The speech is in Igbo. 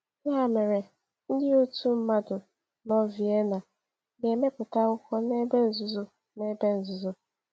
Ya mere, ndị otu mmadụ nọ Vienna ga-emepụta akwụkwọ n’ebe nzuzo. n’ebe nzuzo.